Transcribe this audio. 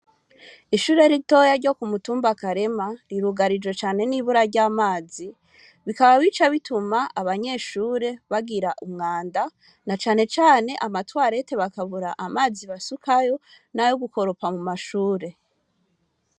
Ishure ritoya ryo ku mutumba akarema rirugarije cane n'ibura ry'amazi bikaba bico bituma abanyeshure bagira umwanda na canecane amatwarete bakabura amazi basukayo nawe gukoropa mu mashure.